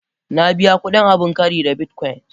Na biya kudin abin kari da bitcoin.